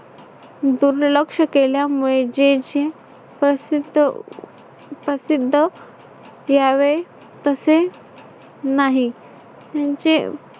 दुर्लक्ष केल्यामुळे जे जी प्रसिद्ध प्रसिद्ध व्हावे तसे नाही. यांचे